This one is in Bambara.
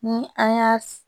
Ni an y'a